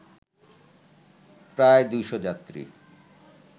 প্রায় ২০০ যাত্রী